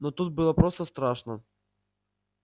но тут было просто страшно